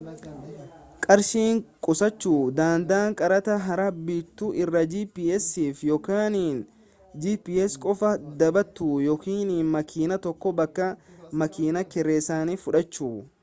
qarshii qusachuu danda'a kaartaa haaraa bituu irra gps'f yookiin gps qofaa dhabatu yookiin makiina tokko bakka makiina kireesani fudhachu